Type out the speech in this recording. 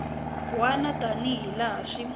wana tani hi laha swi